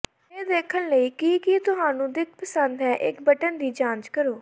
ਇਹ ਦੇਖਣ ਲਈ ਕਿ ਕੀ ਤੁਹਾਨੂੰ ਦਿੱਖ ਪਸੰਦ ਹੈ ਇੱਕ ਬਟਨ ਦੀ ਜਾਂਚ ਕਰੋ